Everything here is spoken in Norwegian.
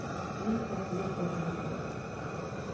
mistet mistet mistet